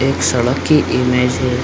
एक सड़क की इमेज है।